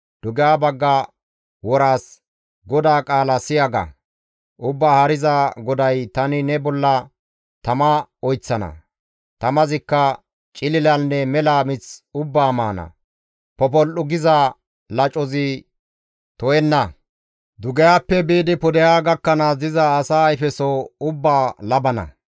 Dugeha bagga woraas, ‹GODAA qaala siya!› ga; Ubbaa Haariza GODAY, ‹Tani ne bolla tama oyththana; tamazikka cililanne mela mith ubbaa maana; popol7u giza lacozi to7enna; dugehappe biidi pudeha gakkanaas diza asa ayfeso ubbaa labana.